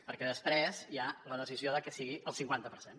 perquè després hi ha la decisió de que sigui el cinquanta per cent